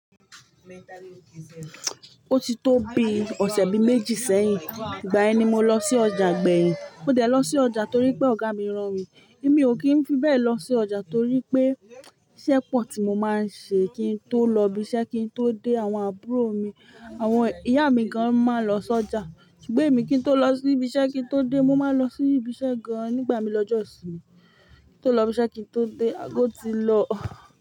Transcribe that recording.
Ó ti tó bi ọ̀sẹ̀ bi méjì sẹ́yìn. Ìgbà ẹni mo lọ sí ọjà gbẹ̀yìn. Ó dẹ̀ lọ sí ọjà torí pé ọ̀gá mi rán mi. Mi ò kí ń fi bẹ́ẹ̀ lọ sí ọjà torí pé iṣẹ́ pọ̀ tí mo máa ń ṣe kí n tó lọ ibi iṣẹ́ kí n tó dé àwọn àbúrò mi. Àwọn ìyá mi gan máa ń lọ sí ọjà. Ṣùgbọ́n èmi kí n tó lọ sí ibi iṣẹ́ kí n tó dé, mo máa ń lọ sí ibi iṣẹ́ gan nígbà mi lọjọ́sin. Kí n tó lọ ibi iṣẹ́ kí n tó dé, àgọ́ ti lọ.